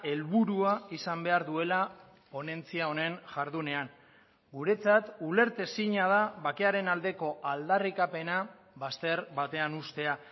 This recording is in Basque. helburua izan behar duela ponentzia honen jardunean guretzat ulertezina da bakearen aldeko aldarrikapena bazter batean uztea